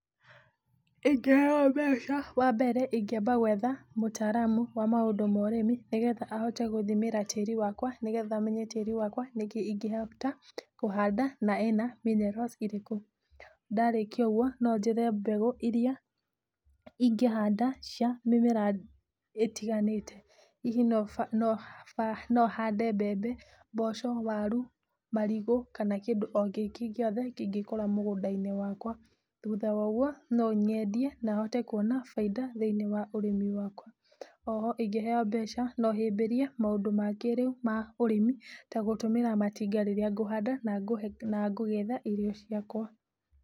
Ingĩheyo mbeca wa mbere ingĩamba gwetha mũtaramu wa maũndũ ma ũrĩmi, nĩgetha ahote gũthimĩra tĩri wakwa. Nĩ getha menye tĩri wakwa nĩkĩĩ ingĩhota kũhanda na ĩno minerals irĩkũ, ndarĩkia ũguo, no njethe mbegũ iria ingĩ handa cia mĩmera ĩtiganĩte. Hihi no hande mbembe, mboco, waru, marigu kana kĩndũ o kĩngĩ gĩothe kĩngĩ kũra mũgũnda-inĩ wakwa. Thutha wa ũguo, no nyendie na hote kuona bainda thĩiniĩ wa ũrĩmi wakwa. O ho ingĩheyo mbeca no hĩmbĩria maũndũ ma kĩrĩu ma ũrĩmi, ta gũtũmĩra matinga rĩrĩa ngũhanda na ngũgetha irio ciakwa.